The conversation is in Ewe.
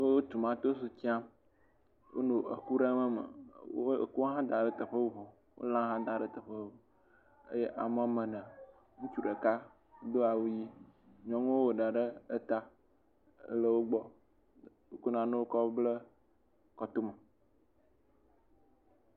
Wo tomatosi dram. Wonɔ eku ɖem eme. Wo ekua hã dam ɖe teƒe bubu. Wo lã hã dam ɖe teƒe bubu eye ame woame ene. Ŋutsu ɖeka do awu ʋi. Nyɔnuwo wo ɖa ɖe eta ele wo gbɔ. Wo ko nanewo kɔ ble etome.